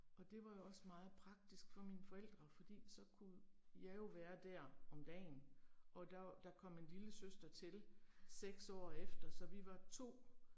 Og det var jo også meget praktisk for mine forældre, fordi så kunne jeg jo være der om dagen, og der, der kom en lillesøster til 6 år efter, så vi var 2